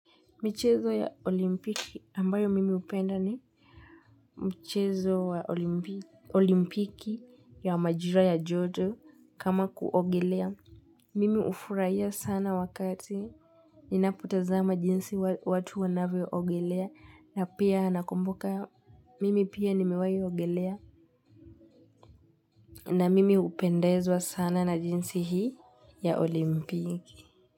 Michezo ya olimpiki ambayo mimi hupenda ni michezo ya olimpiki ya majira ya jodo kama kuogelea. Mimi hufurahia sana wakati ninapotazama jinsi watu wanavyo ogelea na pia nakumbuka mimi pia nimiwahi ogelea na mimi hupendezwa sana na jinsi hii ya olimpiki.